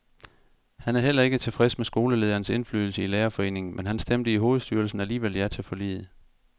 Han er heller ikke tilfreds med skoleledernes indflydelse i lærerforeningen, men han stemte i hovedstyrelsen alligevel ja til forliget.